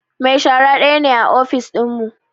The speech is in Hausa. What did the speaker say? Mai shara daya ne a ofis dinmu